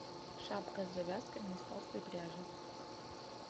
шапка с завязками из толстой пряжи